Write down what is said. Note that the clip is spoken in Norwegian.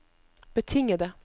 betingede